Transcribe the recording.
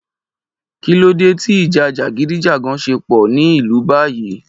Kí ló dé ti ìjà jàgídíjàgan ṣe po ni ilú báyìí